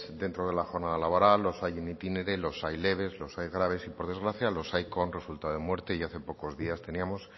dentro de la jornada laboral los hay en itinere los hay leves los hay graves y por desgracia los hay con resultado de muerte y hace pocos días teníamos